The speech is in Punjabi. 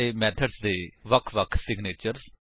ਅਤੇ ਮੇਥਡਸ ਦੇ ਭਿੰਨ ਸਿਗਨੇਚਰਸ